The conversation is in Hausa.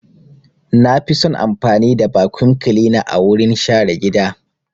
Na fi son amfani da vacuum cleaner wurin share gida.